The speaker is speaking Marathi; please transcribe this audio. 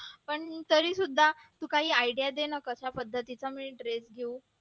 पण तरीसुद्धा तू काही idea दे ना कशा पद्धतीचा मी desk घेऊ